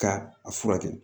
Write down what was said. Ka a furakɛ